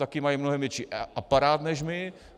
Taky mají mnohém větší aparát než my.